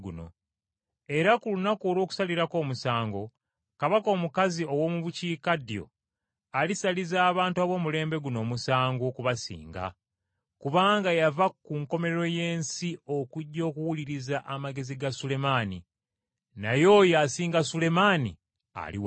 Era ku lunaku olw’okusalirako omusango, kabaka omukazi ow’omu bukiikaddyo alisaliza abantu ab’omulembe guno omusango okubasinga, kubanga yava ku nkomerero y’ensi okujja okuwuliriza amagezi ga Sulemaani, naye oyo asinga Sulemaani ali wano.